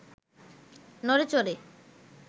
নড়ে চড়ে